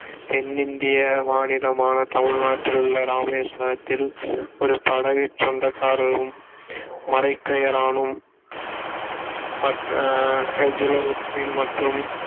தென்னிந்திய மாநிலமான தமிழ்நாட்டில் உள்ள இராமேஸ்வரத்தில் ஒரு படகுச் சொந்தக்காரரும் மரைக்கயரானும் மற்றும்